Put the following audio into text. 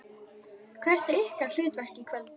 Hvert er ykkar hlutverk í kvöld?